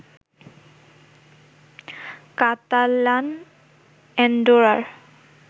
Catalan অ্যান্ডোরার